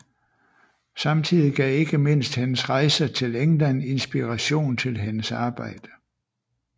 Samtidig gav ikke mindst hendes rejser til England inspiration til hendes arbejde